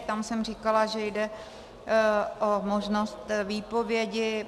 Tam jsem říkala, že jde o možnost výpovědi.